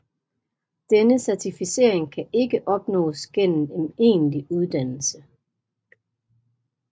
Denne certificering kan ikke opnås gennem en egentlig uddannelse